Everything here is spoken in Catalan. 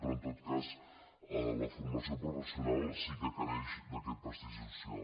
però en tot cas la formació professional sí que està mancada d’aquest prestigi social